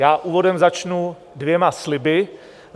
Já úvodem začnu dvěma sliby.